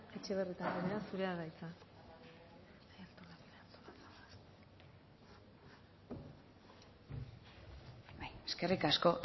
etxebarrieta anderea zurea da hitza eskerrik asko